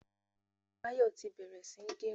Báyọ̀ tí bẹ̀rẹ̀ sí ń gẹrun.